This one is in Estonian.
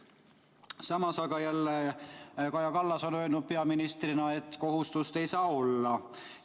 Samas on Kaja Kallas peaministrina öelnud, et seda kohustust ei saa olla.